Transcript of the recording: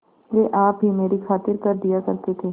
वे आप ही मेरी खातिर कर दिया करते थे